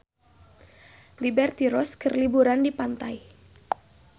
Liberty Ross keur liburan di pantai